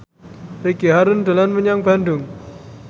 Ricky Harun dolan menyang Bandung